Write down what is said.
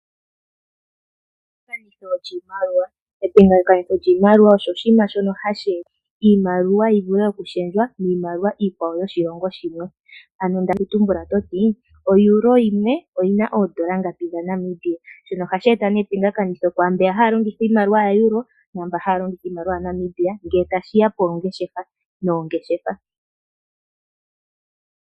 Epingathanitho lyiimaliwa. Epingathanitho lyiimaliwa osho hashi etitha iimaliwa yi vule okulundululwa miimaliwa yoshilongo shilwe. Ano ndali ndina okutumbula teti oEuro yimwe oyina oondola ngapi dha Namibia, shino ohashi eta nee epingathanitho ku mboka haya longitha iimaliwa ya Euro, naamboka haya longitha iimalia ya Namibia ngele tashi ya moongeshefa.